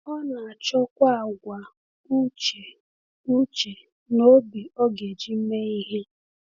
Ọ na-achọkwa àgwà uche uche na obi ọ ga-eji mee ihe.